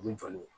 U bɛ jɔ n'o ye